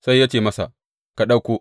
Sai ya ce masa, Ka ɗauko.